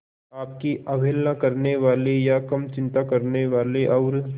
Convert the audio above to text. आपकी अवहेलना करने वाले या कम चिंता करने वाले और